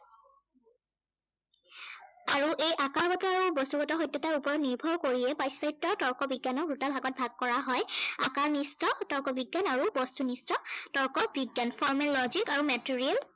আৰু এই আকাৰগত আৰু বস্তুগত সত্য়াতৰ ওপৰত নিৰ্ভৰ কৰিয়েই পাশ্চাত্য় তৰ্ক বিজ্ঞানক দুটা ভাগত ভাগ কৰা হয়। আকাৰনিষ্ঠ তৰ্ক বিজ্ঞান আৰু বস্তুনিষ্ঠ তৰ্ক বিজ্ঞান। formal logic আৰু material